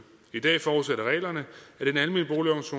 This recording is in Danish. i dag forudsætter reglerne